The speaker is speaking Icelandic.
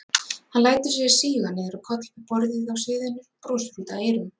Hann lætur sig síga niður á koll við borðið á sviðinu, brosir út að eyrum.